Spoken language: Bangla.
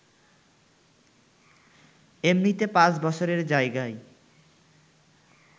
এমনিতে পাঁচ বছরের জায়গায়